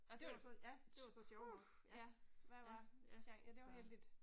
Det var så, ja, det var så sjovt nok, ja, ja, ja, så